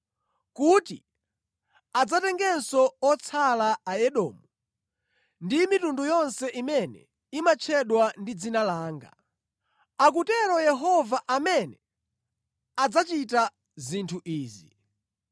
kuti adzatengenso otsala a Edomu ndi mitundu yonse imene imatchedwa ndi dzina langa,” akutero Yehova amene adzachita zinthu izi.